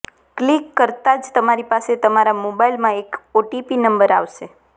click કરતા જ તમારી પાસે તમારા મોબાઇલમાં એક ઓટીપી નંબર આવશે